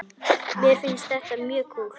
Mér finnst það mjög kúl.